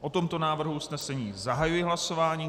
O tomto návrhu usnesení zahajuji hlasování.